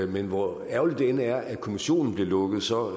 men hvor ærgerligt det end er at kommissionen blev lukket så